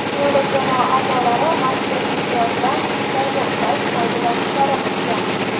G‘olib jamoa a’zolari mazkur imtiyozdan istalgan payt foydalanishlari mumkin.